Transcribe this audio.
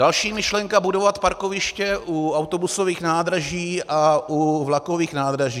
Další myšlenka - budovat parkoviště u autobusových nádraží a u vlakových nádraží.